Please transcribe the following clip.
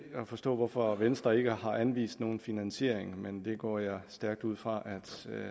at forstå hvorfor venstre ikke har anvist nogen finansiering men det går jeg stærkt ud fra at